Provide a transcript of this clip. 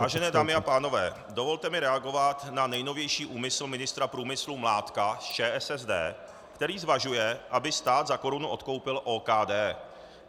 Vážené dámy a pánové, dovolte mi reagovat na nejnovější úmysl ministra průmyslu Mládka z ČSSD, který zvažuje, aby stát za korunu odkoupil OKD.